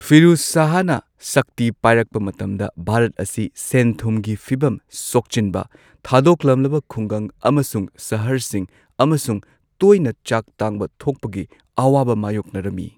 ꯐꯤꯔꯨꯖ ꯁꯥꯍꯅ ꯁꯛꯇꯤ ꯄꯥꯢꯔꯛꯄ ꯃꯇꯝꯗ ꯚꯥꯔꯠ ꯑꯁꯤ ꯁꯦꯟ ꯊꯨꯝꯒꯤ ꯐꯤꯕꯝ ꯁꯣꯛꯆꯤꯟꯕ , ꯊꯥꯗꯣꯛꯂꯝꯂꯕ ꯈꯨꯡꯒꯪ ꯑꯃꯁꯨꯡ ꯁꯍꯔꯁꯤꯡ, ꯑꯃꯁꯨꯡ ꯇꯣꯏꯅ ꯆꯥꯛ ꯇꯥꯡꯕ ꯊꯣꯛꯄꯒꯤ ꯑꯋꯥꯕ ꯃꯥꯌꯣꯛꯅꯔꯝꯃꯤ꯫